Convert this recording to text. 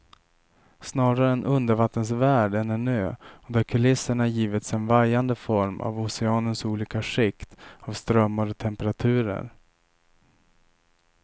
Snarare en undervattensvärld än en ö och där kulisserna givits en vajande form av oceanens olika skikt av strömmar och temperaturer.